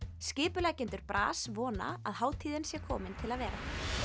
skipuleggjendur vona að hátíðin sé komin til að vera